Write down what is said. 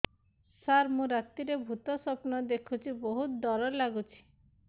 ସାର ମୁ ରାତିରେ ଭୁତ ସ୍ୱପ୍ନ ଦେଖୁଚି ବହୁତ ଡର ଲାଗୁଚି